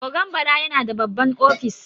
Ogan Bala yana da babban ofis.